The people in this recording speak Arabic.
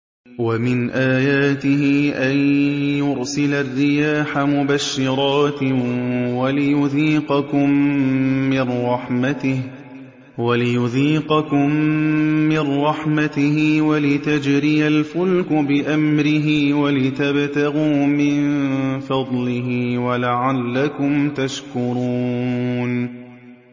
وَمِنْ آيَاتِهِ أَن يُرْسِلَ الرِّيَاحَ مُبَشِّرَاتٍ وَلِيُذِيقَكُم مِّن رَّحْمَتِهِ وَلِتَجْرِيَ الْفُلْكُ بِأَمْرِهِ وَلِتَبْتَغُوا مِن فَضْلِهِ وَلَعَلَّكُمْ تَشْكُرُونَ